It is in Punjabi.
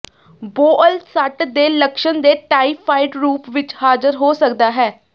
ਬੋਅਲ ਸੱਟ ਦੇ ਲੱਛਣ ਦੇ ਟਾਈਫਾਈਡ ਰੂਪ ਵਿੱਚ ਹਾਜ਼ਰ ਹੋ ਸਕਦਾ ਹੈ